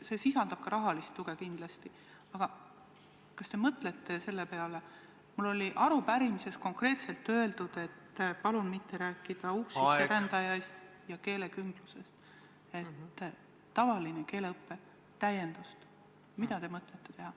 See eeldab ka rahalist tuge kindlasti, aga kas te olete mõelnud selle peale – meil oli arupärimises konkreetselt öeldud, et palun mitte rääkida keelekümblusest –, mida teha tavalise keeleõppe täiendamiseks?